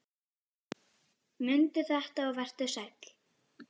Mundu þetta og vertu sæll!